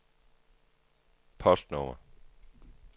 postnummer